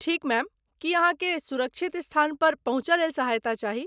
ठीक मैम, की अहाँकेँ सुरक्षित स्थानपर पहुँचयलेल सहायता चाही।